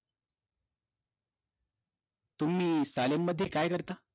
तुम्ही सालेनमध्ये काय करता